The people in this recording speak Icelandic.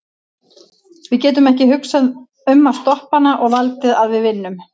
Við getum ekki hugsað um að stoppa hana og haldið að við vinnum.